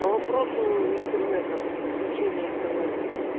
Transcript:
по вопросу интернета подключения интернета